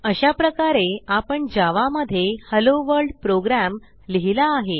अशाप्रकारे आपण जावा मध्ये हेलोवर्ल्ड प्रोग्राम लिहिला आहे